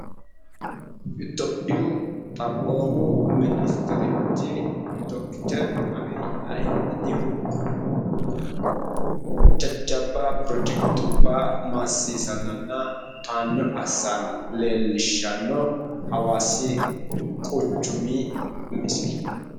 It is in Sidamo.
Itophiyu xaphoomu ministerichi dokiteri Abiyyi Ahimedihu jajjabba pirojekitubbu maasiisannanna towaanyo assanna leellishshanno hawaasi quchumi misile.